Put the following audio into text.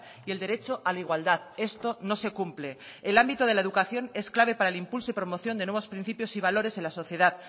y el derecho a la igualdad esto no se cumple el ámbito de la educación es clave para el impulso y promoción de nuevos principios y valores en la sociedad